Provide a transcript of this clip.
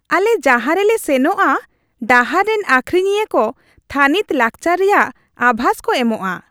ᱟᱞᱮ ᱡᱟᱦᱟᱸ ᱨᱮᱞᱮ ᱥᱮᱱᱚᱜᱼᱟ ᱰᱟᱦᱟᱨ ᱨᱮᱱ ᱟᱹᱠᱷᱨᱤᱧᱤᱭᱟᱹ ᱠᱚ ᱛᱷᱟᱹᱱᱤᱛ ᱞᱟᱠᱪᱟᱨ ᱨᱮᱭᱟᱜ ᱟᱵᱷᱟᱥ ᱠᱚ ᱮᱢᱚᱜᱼᱟ ᱾